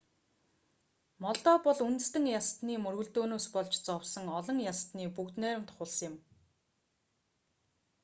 молдав бол үндэстэн ястаны мөргөлдөөнөөс болж зовсон олон ястны бүгд найрамдах улс юм